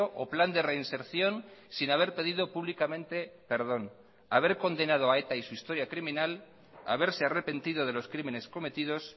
o plan de reinserción sin haber pedido públicamente perdón haber condenado a eta y su historia criminal haberse arrepentido de los crímenes cometidos